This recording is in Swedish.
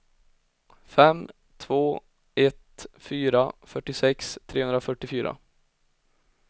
fem två ett fyra fyrtiosex trehundrafyrtiofyra